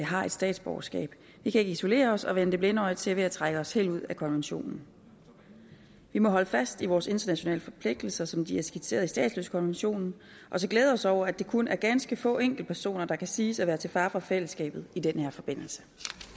har et statsborgerskab vi kan ikke isolere os og vende det blinde øje til ved at trække os helt ud af konventionen vi må holde fast i vores internationale forpligtelser som de er skitseret i statsløsekonventionen og så glæde os over at det kun er ganske få enkeltpersoner der kan siges at være til fare for fællesskabet i den her forbindelse